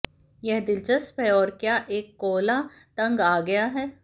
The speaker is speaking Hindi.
यह दिलचस्प है और क्या एक कोअला तंग आ गया है